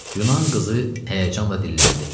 Yunan qızı həyəcanla dilləndi.